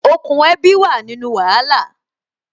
Okùn ẹbi wà nínú wàhálà